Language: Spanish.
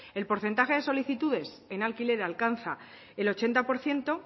el porcentaje de solicitudes en alquiler alcanza el ochenta por ciento